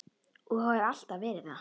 Og hef alltaf verið það.